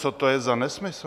Co to je za nesmysl?